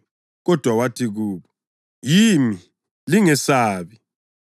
Kodwa wathi kubo, “Yimi; lingesabi.”